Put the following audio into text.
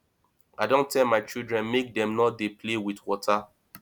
i don tell my children make dem no dey play with water